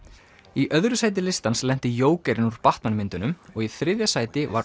í annað sæti listans lenti jókerinn úr Batman myndunum og í þriðja sæti var